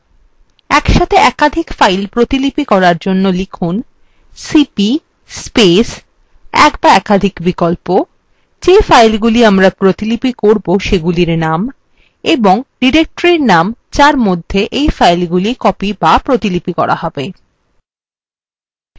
একসাথে একাধিক files প্রতিলিপি করার জন্য লিখুন